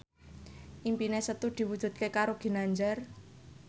impine Setu diwujudke karo Ginanjar